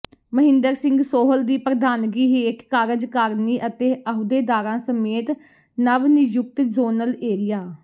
ਮਹਿੰਦਰ ਸਿੰਘ ਸੋਹਲ ਦੀ ਪ੍ਰਧਾਨਗੀ ਹੇਠ ਕਾਰਜਕਾਰਨੀ ਅਤੇ ਆਹੁਦੇਦਾਰਾਂ ਸਮੇਤ ਨਵ ਨਿਯੁਕਤ ਜ਼ੋਨਲ ਏਰੀਆ